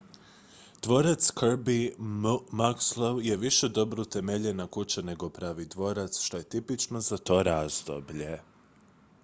dvorac kirby muxloe je više dobro utemeljena kuća nego pravi dvorac što je tipično za to razdoblje